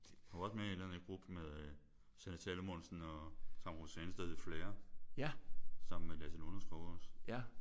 Han var også med i et eller andet gruppe med øh Sanne Salomonsen og Tamra Rosanes der hed Flair. Sammen med Lasse Lunderskov også